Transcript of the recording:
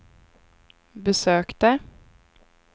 besökte